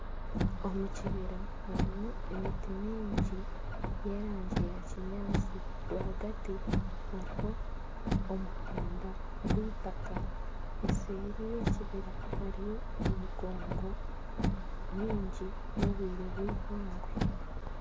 Omukibira harumu emiti mingi y'erangi ya kinyantsi rwagati haruho omuhanda gw'itaka eseeri y'ekibira hariyo emigongo mingi n'obwire bwihangwe.